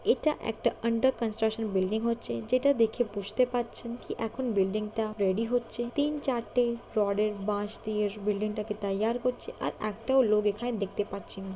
এটা একটা under construction building হচ্ছে যেটা দেখে বুঝতে পাচ্ছেন কি এখন বিল্ডিং -টা রেডি হচ্ছে। তিন চারটে রড -এর বাঁশ দিয়ে বিল্ডিং -টাকে তৈয়ার করছে আর একটাও লোক এখানে দেখতে পাচ্ছি না।